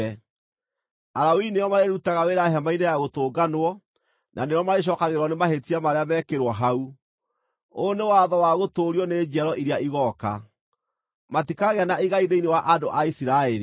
Alawii nĩo marĩrutaga wĩra Hema-inĩ-ya-Gũtũnganwo na nĩo marĩcookagĩrĩrwo nĩ mahĩtia marĩa meekĩirwo hau. Ũyũ nĩ watho wa gũtũũrio nĩ njiaro iria igooka. Matikagĩa na igai thĩinĩ wa andũ a Isiraeli.